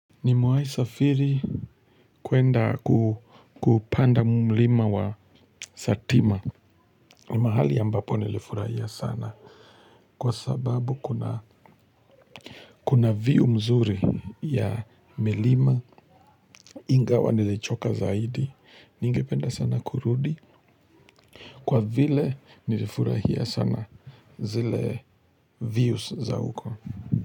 Nimewai safiri kuenda kupanda mlima wa satima. Ni mahali ambapo nilifurahia sana. Kwa sababu kuna view mzuri ya milima ingawa nilichoka zaidi. Ningependa sana kurudi. Kwa vile nilifurahia sana zile views za huko.